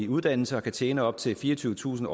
uddannelse og kan tjene op til fireogtyvetusind